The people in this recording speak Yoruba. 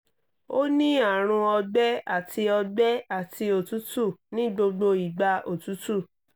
ó ní àrùn ọgbẹ àti ọgbẹ àti òtútù ní gbogbo ìgbà òtútù